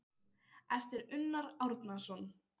eftir Unnar Árnason